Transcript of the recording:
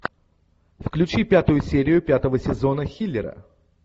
включи пятую серию пятого сезона хиллера